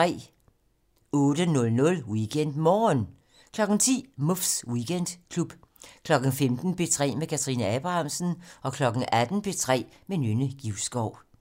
08:00: WeekendMorgen 10:00: Muffs Weekendklub 15:00: P3 med Kathrine Abrahamsen 18:00: P3 med Nynne Givskov